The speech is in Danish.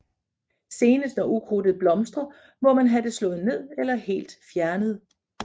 Senest når ukrudtet blomstrer må man have det slået ned eller helt fjernet